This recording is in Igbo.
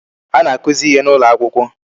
Ana akụzi ihe n'ụlọ akwụkwọ.